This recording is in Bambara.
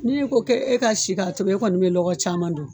Ni i ko e ka si k'a tobi e kɔni bɛ lɔgɔ caman don